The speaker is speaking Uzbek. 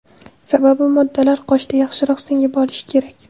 Sababi moddalar qoshda yaxshiroq singib olishi kerak.